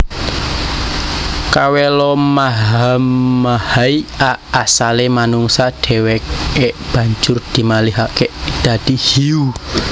Kawelomahamahai a Asalé manungsa dhèwèké banjur dimalihaké dadi hiyu